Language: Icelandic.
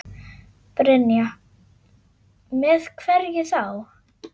Brynja: Með hverju þá?